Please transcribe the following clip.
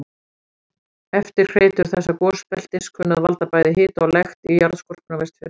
Eftirhreytur þessa gosbeltis kunna að valda bæði hita og lekt í jarðskorpunni á Vestfjörðum.